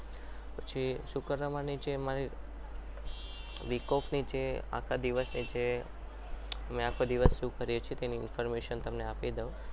પછી શુક્રવારની જે મારી week off નીચે આખા દિવસની છે અમે આખો દિવસ શું કરીએ છીએ એ તેની information તમને આપવાની આપી દઉં.